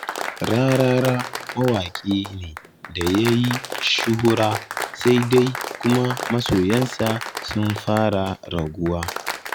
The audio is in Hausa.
Rarara mawaƙi ne da ya yi shuhura, sai dai kuma masoyansa sun fara raguwa.